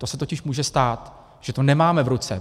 To se totiž může stát, že to nemáme v ruce.